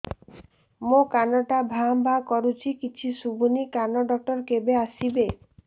ମୋ କାନ ଟା ଭାଁ ଭାଁ କରୁଛି କିଛି ଶୁଭୁନି କାନ ଡକ୍ଟର କେବେ ଆସିବେ